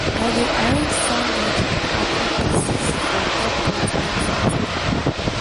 i dey arrange sandwich and apple pieces for airport waiting time.